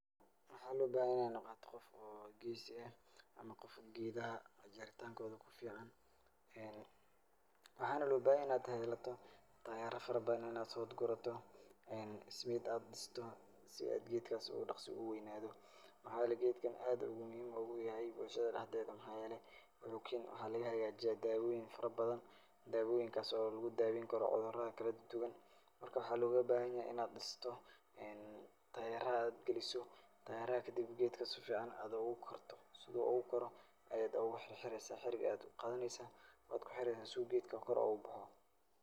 Waxaa loo bahanyahay in aad noqoto qof oo geesi ah ama qof geedaha jaritankooda ku ficaan. Waxaana loo bahanyahay in aad yeelato taayaro farabadan in aad soo gurato, ismiit aad dhisto geedka si uu dakhsa uu weynaado. Maxaa yeelay geedkan aad ayuu muhiim uguyahay bulshada dhaxdeeda. Maxaa yeelay, waxuu keeni, waxaa laga hegaajiyaa daawooyin farabadan. Daawooyinkas oo lagu daaweyni karo cudurada kala duwan. Marka, waxaa lagaaga bahanyahay in aad dhisto, taayaro aad galiso. Taayaraha kadib geedkan si ficaan aad ugu korto. Sida uu ugukoro ayaad uugu xirxireysaa harig ayaad u qaadaneysaa waad kuxireysa si uu geedka kor uugu baxo.